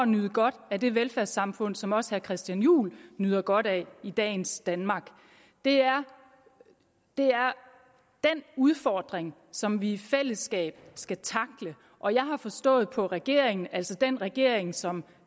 nyde godt af det velfærdssamfund som også herre christian juhl nyder godt af i dagens danmark det er den udfordring som vi i fællesskab skal tackle og jeg har forstået på regeringen altså den regering som